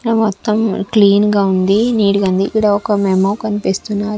ఆ మొత్తం క్లీన్ గా ఉంది నీట్ గా ఉంది. లోకం మెమో కనిపిస్తున్నాది.